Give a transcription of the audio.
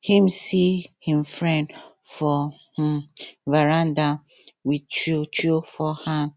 him see him friend for um veranda with chew chew for hand